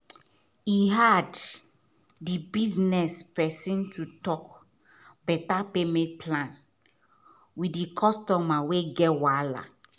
e hard di business person to talk better payment plan with the customer wey get wahala